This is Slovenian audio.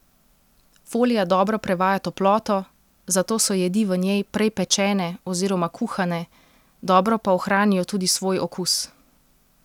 Folija dobro prevaja toploto, zato so jedi v njej prej pečene oziroma kuhane, dobro pa ohranijo tudi svoj okus.